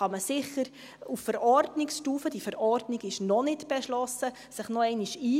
Da kann man sich sicher auf Verordnungsstufe – die Verordnung ist noch nicht beschlossen – noch einmal einbringen.